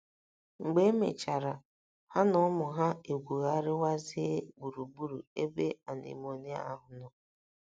Mgbe e mechara, ha na ụmụ ha egwugharịwazie gburugburu ebe anemone ahụ nọ.